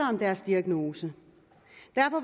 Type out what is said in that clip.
om deres diagnose derfor